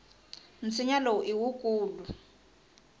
nsinya lowu i wukulu